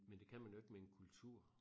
Men det kan man jo ikke med en kultur